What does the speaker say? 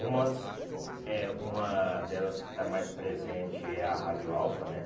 Umas eh uma delas que está mais presente é a Rádio Alfa, né?